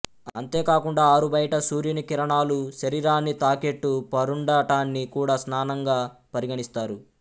అంతే కాకుండా ఆరుబయట సూర్యుని కిరణాలు శరీరాన్ని తాకేట్టు పరుండటాన్ని కూడా స్నానంగా పరిగణిస్తారు